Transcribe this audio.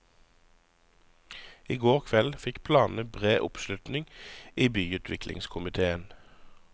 I går kveld fikk planene bred oppslutning i byutviklingskomitéen.